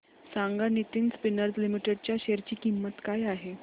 सांगा Nitin Spinners Limited च्या share ची किंमत काय आहे